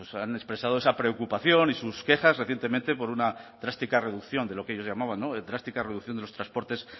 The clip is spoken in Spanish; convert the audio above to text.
han expresado esa preocupación y sus quejas recientemente por una drástica reducción de lo que ellos llamaban drástica reducción de los transportes